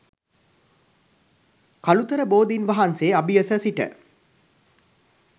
කලුතර බෝධින් වහන්සේ අභියස සිට